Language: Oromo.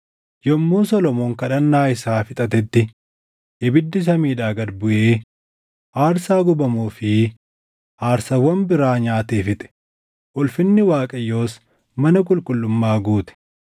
Yommuu Solomoon kadhannaa isaa fixatetti ibiddi samiidhaa gad buʼee aarsaa gubamuu fi aarsaawwan biraa nyaatee fixe; ulfinni Waaqayyoos mana qulqullummaa guute.